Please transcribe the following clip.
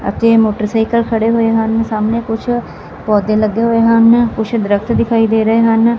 ਅਤੇ ਮੋਟਰਸਾਈਕਲ ਖੜੇ ਹੋਏ ਹਨ ਸਾਹਮਣੇ ਕੁਝ ਪੌਧੇ ਲੱਗੇ ਹੋਏ ਹਨ ਕੁਝ ਦਰੱਖਤ ਦਿਖਾਈ ਦੇ ਰਹੇ ਹਨ।